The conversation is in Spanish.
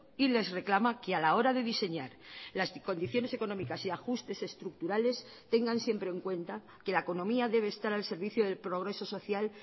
y les reclama que a la hora de diseñar las condiciones económicas y ajustes estructurales tengan siempre en cuenta que la economía debe estar al servicio del progreso social